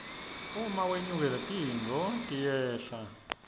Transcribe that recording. uma wlnyukile tintfo tiyehla emarani